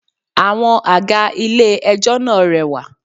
5. Àwọn àga ilé ẹjọ́ náà rẹwà.